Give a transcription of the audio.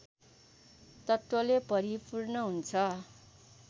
तत्त्वले भरिपूर्ण हुन्छ